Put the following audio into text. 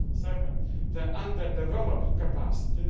second, the under developed capacity